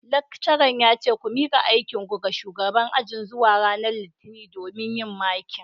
Lecturer yace ku mika aikinku ga shugaban ajin zuwa ranar litinin domin yin marking